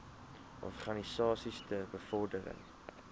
organisasies ter bevordering